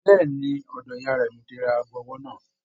Bẹ̀ẹ́ni, ọ̀dọ̀ ìyá rẹ ní mò tí rà aago ọwọ náà.